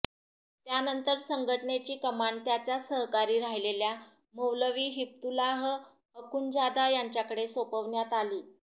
त्यानंतर संघटनेची कमान त्याचाच सहकारी राहिलेल्या मौलवी हिब्तुल्लाह अखुंजादा याच्याकडे सोपवण्यात आली